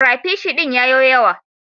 Crapishi din ya yo yawa.